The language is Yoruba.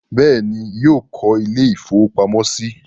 Bẹ́ẹ̀ ni, yóò lọ́ ilé-ìfowópamọ́sí.